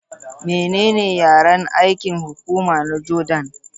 Menene yaren aikin hukuma na Jordan?